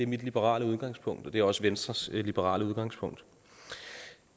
mit liberale udgangspunkt og det er også venstres liberale udgangspunkt